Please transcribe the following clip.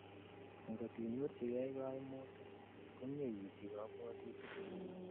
angot inyorjigei koimutik, komie isij kabwotutik